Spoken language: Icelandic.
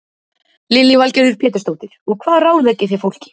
Lillý Valgerður Pétursdóttir: Og hvað ráðleggið þið fólki?